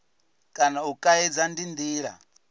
kana u kaidza ndi ndila